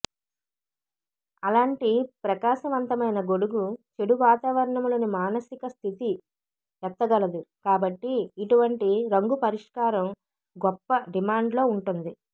అలాంటి ప్రకాశవంతమైన గొడుగు చెడు వాతావరణంలో మానసిక స్థితి ఎత్తగలదు కాబట్టి ఇటువంటి రంగు పరిష్కారం గొప్ప డిమాండ్లో ఉంటుంది